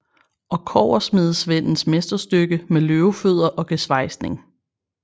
Og kobbersmedesvendens mesterstykke med løvefødder og gesvejsning